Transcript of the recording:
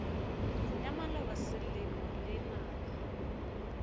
ya maloba selemo le naga